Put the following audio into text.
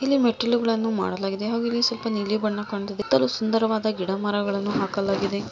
ಇಲ್ಲಿ ಮೆಟ್ಟಿಲುಗಳನ್ನು ಮಾಡಲಾಗಿದೆ ಹಾಗೂ ಇಲ್ಲಿ ಸ್ವಲ್ಪ ನೀಲಿ ಬಣ್ಣ ಕಾಣ್ತಾ ಇದೆ ಸುಂದರವಾದ ಗಿಡ ಮರಗಳನ್ನು ಹಾಕಲಾಗಿದೆ.